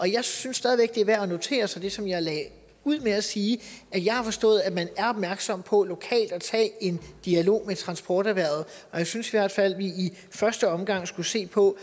jeg synes stadig væk det er værd at notere sig ligesom jeg lagde ud med at sige at jeg har forstået at man er opmærksom på at tage en dialog med transporterhvervet og jeg synes i hvert fald vi i første omgang skulle se på